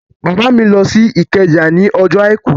Bàbá mi lọ sí Ìkẹjà ní ọjọ́ àìkú